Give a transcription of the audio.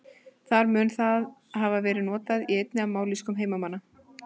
Þar mun það hafa verið notað í einni af mállýskum heimamanna.